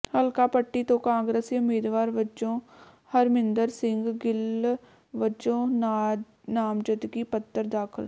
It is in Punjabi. ਹਲਕਾ ਪੱਟੀ ਤੋਂ ਕਾਂਗਰਸੀ ਉਮੀਦਵਾਰ ਵਜੋਂ ਹਰਮਿੰਦਰ ਸਿੰਘ ਗਿੱਲ ਵੱਲੋਂ ਨਾਮਜ਼ਦਗੀ ਪੱਤਰ ਦਾਖ਼ਲ